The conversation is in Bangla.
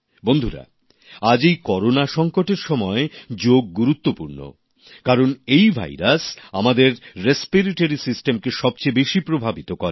বন্ধুরা আজ এই করেনা সংকটের সময় যোগ গুরুত্বপূর্ণ কারণ এই ভাইরাস আমাদের শ্বসন তন্ত্রকে সবচেয়ে বেশি প্রভাবিত করে